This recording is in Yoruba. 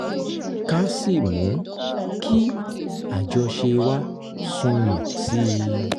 ká sì mú kí àjọṣe wa sunwọ̀n sí i